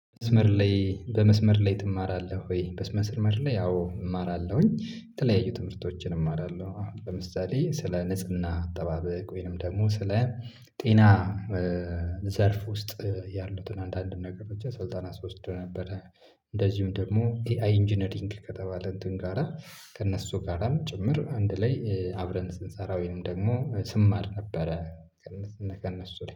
መስመር ላይ በመስመር ላይ ትማራለህ ወይ? በመስመስመር ላይ ያው እማራለሁኝ። የተለያዩ ትምህርቶችን እማራለሁ ለምሳሌ ስለ ንጽህና አጠባበቅ ወይንም ደግሞ ስለ ጤና ዘርፍ ውስጥ ያሉትን አንዳንድ ነገሮችን ስልጠና ስወስድ ነበረ። እንደዚሁም ደግሞ ኤአይኢንጂነሪንግ ከተባለ እንትን ጋር ከእነሱ ጋራም ጭምር አንድ ላይ አብረን ስንሰራ ወይም ደግሞ ስማር ነበረ። ከእነሱና ከእነሱ ላይ